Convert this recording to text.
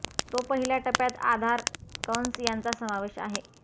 तो पहिल्या टप्प्यात आधार कंस यांचा समावेश आहे